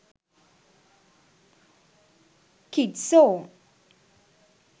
kids song